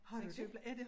Har du det?